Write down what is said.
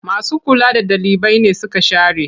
Masu kula da ɗalibai nesuka share.